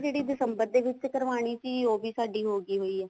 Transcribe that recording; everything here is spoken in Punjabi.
ਇਸ ਮਹੀਨੇ ਦੀ ਦਿਸੰਬਰ ਦੇ ਵਿੱਚ ਕਰਵਾਉਣੀ ਸੀ ਉਹ ਵੀ ਸਾਡੀ ਹੋ ਗਈ ਹੋਈ ਆ